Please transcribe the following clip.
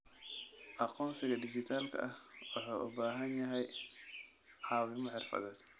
Aqoonsiga dhijitaalka ah wuxuu u baahan yahay caawimo xirfadeed.